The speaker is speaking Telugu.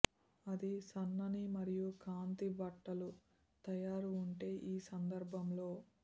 అది సన్నని మరియు కాంతి బట్టలు తయారు ఉంటే ఈ సందర్భంలో